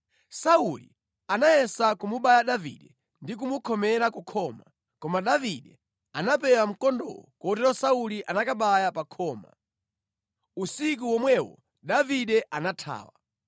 Sauli anafuna kumubaya Davide ndi kumukhomera kukhoma, koma Davide anapewa mkondowo kotero Sauli anakabaya pa khoma. Usiku womwewo Davide anathawa.